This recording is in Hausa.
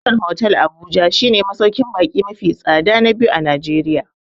Sheraton hotel Abuja shi ne masauƙin baƙi mafi tsada na biyu a Najeriya